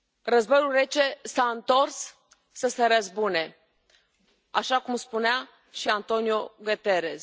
Războiul Rece s a întors să se răzbune, așa cum spunea și António Guterres.